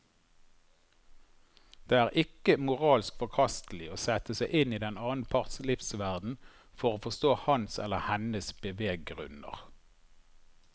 Det er ikke moralsk forkastelig å sette seg inn i den annen parts livsverden for å forstå hans eller hennes beveggrunner.